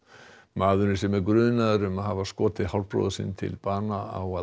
maðurinn sem er grunaður um að hafa skotið hálfbróður sinn til bana á að